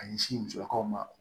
A ɲɛsin musolakaw ma